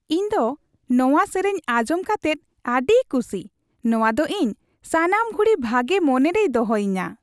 ᱤᱧ ᱫᱚ ᱱᱚᱣᱟ ᱥᱮᱨᱮᱧ ᱟᱸᱡᱚᱢ ᱠᱟᱛᱮᱫ ᱟᱹᱰᱤ ᱠᱷᱩᱥᱤ ᱾ ᱱᱚᱣᱟ ᱫᱚ ᱤᱧ ᱥᱟᱱᱟᱢ ᱜᱷᱩᱲᱤ ᱵᱷᱟᱜᱮ ᱢᱚᱱᱮ ᱨᱮᱭ ᱫᱚᱦᱚᱭᱤᱧᱟ ᱾